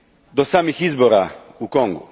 do samih izbora u Kongu.